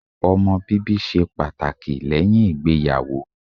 Ọmọ bíbí ṣe pàtàkì lẹ́yìn ìgbéyàwó.